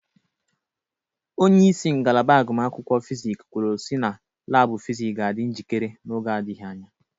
Onyeisi ngalaba agụmakwụkwọ Fizik kwulu si na laabụ Fizik ga adị njikere n'oge adịghị anya.